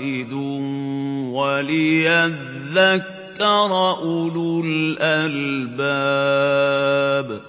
وَاحِدٌ وَلِيَذَّكَّرَ أُولُو الْأَلْبَابِ